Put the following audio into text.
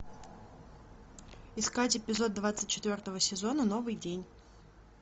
искать эпизод двадцать четвертого сезона новый день